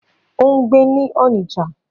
Ó ń gbé ní Onitsha.